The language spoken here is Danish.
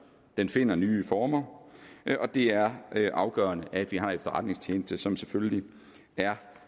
den finder nye former det er afgørende at vi har en efterretningstjeneste som selvfølgelig er